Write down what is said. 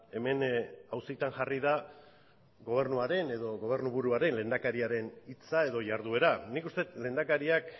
hemen auzitan jarri da gobernuaren edo gobernuburuaren lehendakariaren hitza edo jarduera nik uste dut lehendakariak